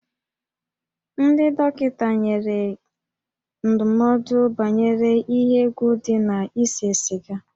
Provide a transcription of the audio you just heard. Ndị dọkịta nyere ndụmọdụ banyere ihe egwu dị na ise siga